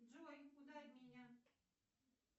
джой ударь меня